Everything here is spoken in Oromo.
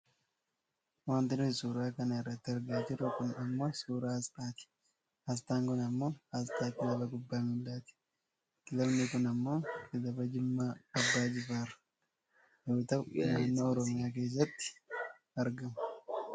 Wanti nuti suuraa kana irratti argaa jirru kun ammoo suuraa aasxaati. Aasxaan kun ammoo aasxaa kilaba kubbaa miilaati. Kilabni kun ammoo kilaba jimmaa abbaa jifaar yoo ta'u naannoo oromiyaa keessatti argama.